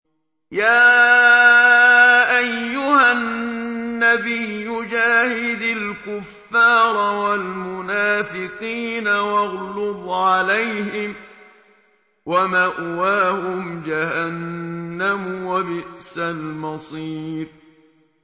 يَا أَيُّهَا النَّبِيُّ جَاهِدِ الْكُفَّارَ وَالْمُنَافِقِينَ وَاغْلُظْ عَلَيْهِمْ ۚ وَمَأْوَاهُمْ جَهَنَّمُ ۖ وَبِئْسَ الْمَصِيرُ